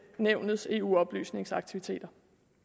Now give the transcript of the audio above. nævnets eu oplysningsaktiviteter